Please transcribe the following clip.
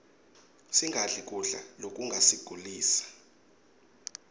singadli kudla lokungasigulisa